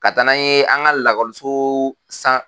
Ka taa n'an ye an ka lakɔliso san